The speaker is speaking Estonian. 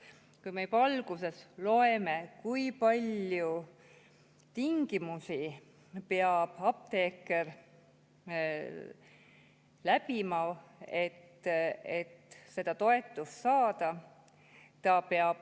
Me juba siit algusest loeme, kui palju tingimusi peab apteeker, et seda toetust saada.